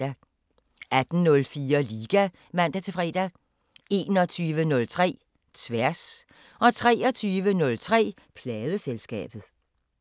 18:04: Liga (man-fre) 21:03: Tværs 23:03: Pladeselskabet